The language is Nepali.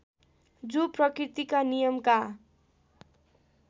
जो प्रकृतिका नियमका